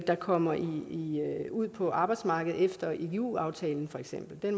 der kommer ud på arbejdsmarkedet efter igu aftalen for eksempel